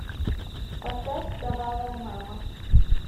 поставь кровавая мама